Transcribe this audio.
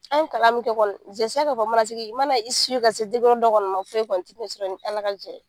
An ye kalan min kɛ kɔni mana i ka se dɔ kɔni ma foyi tɛ n'e sɔrɔ ni Ala ka jɛ ye.